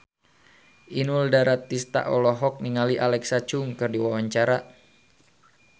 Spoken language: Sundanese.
Inul Daratista olohok ningali Alexa Chung keur diwawancara